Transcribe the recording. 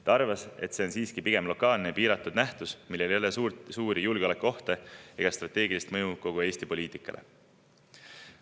Ta arvas, et see on siiski pigem lokaalne ja piiratud nähtus, millega ei kaasne suuri julgeolekuohte ja millel ei ole strateegilist mõju kogu Eesti poliitikale.